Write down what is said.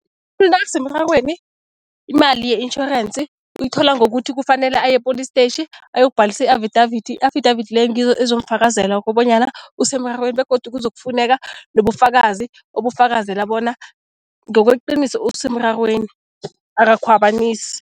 nakasemrarweni imali ye-intjhorensi uyithola ngokuthi kufanele aye epholistetjhi ayokubhalisa i-affidavit. I-affidavit leyo ngizo ezomfakazela kobonyana usemrarweni begodu kuzokufuneka nobufakazi obufakazela bona ngokweqiniso usemrarweni, akakhwabanisi.